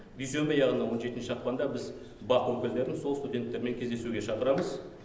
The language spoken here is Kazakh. дүйсенбі яғни он жетінші ақпанда біз бақ өкілдерін сол студенттермен кездесуге шақырамыз